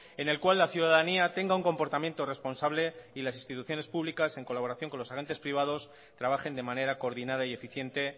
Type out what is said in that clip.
en el cual la ciudadanía tenga un comportamiento responsable y las instituciones públicas en colaboración con los agentes privados trabajen de manera coordinada y eficiente